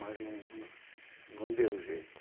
Mas não não, não deu jeito.